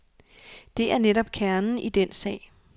Det er netop kernen i den sag.